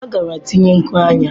Ọ gara tinye nku anya.